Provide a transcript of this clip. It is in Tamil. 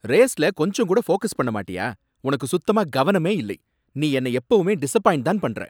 ரேஸ்ல கொஞ்சம் கூட ஃபோகஸ் பண்ண மாட்டியா? உனக்கு சுத்தமா கவனமே இல்லை. நீ என்னை எப்பவுமே டிசப்பாய்ண்ட்தான் பண்ற.